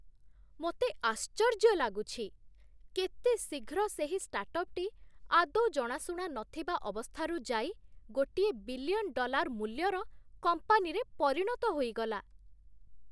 ମୋତେ ଆଶ୍ଚର୍ଯ୍ୟ ଲାଗୁଛି, କେତେ ଶୀଘ୍ର ସେହି ଷ୍ଟାର୍ଟ୍‌ଅପ୍‌ଟି ଆଦୌ ଜଣାଶୁଣା ନଥିବା ଅବସ୍ଥାରୁ ଯାଇ ଗୋଟିଏ ବିଲିୟନ୍ ଡଲାର୍ ମୂଲ୍ୟର କମ୍ପାନୀରେ ପରିଣତ ହୋଇଗଲା!